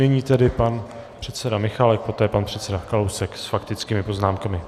Nyní tedy pan předseda Michálek, poté pan předseda Kalousek s faktickými poznámkami.